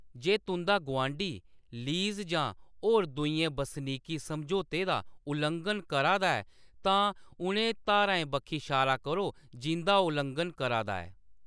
जे तुंʼदा गुआंढी लीज़ जां होर दूइयें बसनीकी समझौतें दा उल्लंघन करा दा ऐ, तां उ'नें धाराएं बक्खी शारा करो जिंʼदा ओह्‌‌ उल्लंघन करा दा ऐ।